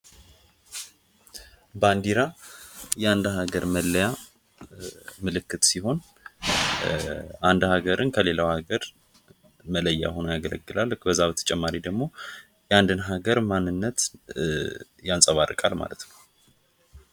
ባንዲራ የአንድ ሀገር መለያ ምልክት ሲሆን እንደ ሀገርን ከሌላው ሀገር መለየት ሆኖ ያገለገላለ በዛ በተጨማሪ ደግሞ የአንድን ሀገር ማንነት ያንፀባርቃል ማለት ነው።